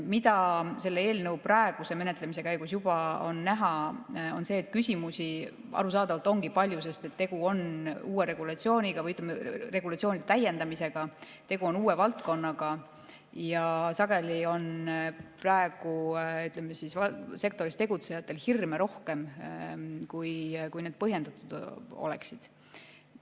Mida selle eelnõu praeguse menetlemise käigus juba on näha, on see, et küsimusi arusaadavalt ongi palju, sest tegu on uue regulatsiooniga või regulatsioonide täiendamisega, tegu on uue valdkonnaga ja sageli on praegu sektoris tegutsejatel hirme rohkem, kui need põhjendatud oleksid.